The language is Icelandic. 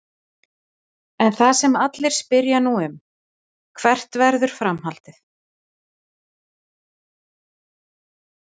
En það sem allir spyrja nú um: Hvert verður framhaldið?